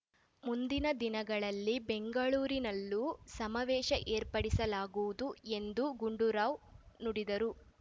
ಮುಂದಿನ ದಿನಗಳಲ್ಲಿ ಬೆಂಗಳೂರಿನಲ್ಲಿಯೂ ಸಮಾವೇಶ ಏರ್ಪಡಿಸಲಾಗುವುದು ಎಂದು ಗುಂಡೂರಾವ್ ನುಡಿದರು